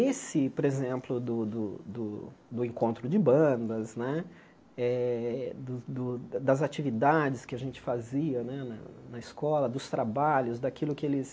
Esse, por exemplo, do do do do encontro de bandas né, eh do do das atividades que a gente fazia na na na escola, dos trabalhos, daquilo que eles...